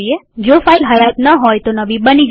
જો ફાઈલ હયાત ન હોય તો નવી બની જશે